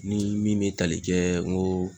Ni min bɛ tali kɛ n koo